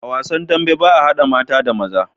A wasan dambe baa hada mata da maza